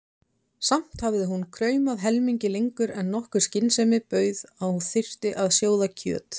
Samt hafði hún kraumað helmingi lengur en nokkur skynsemi bauð að þyrfti að sjóða kjöt.